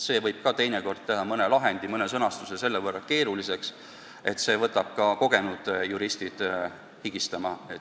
Seegi võib teinekord mõne sõnastuse teha nii keeruliseks, et võtab ka kogenud juristid higistama.